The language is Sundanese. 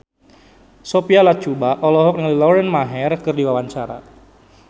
Sophia Latjuba olohok ningali Lauren Maher keur diwawancara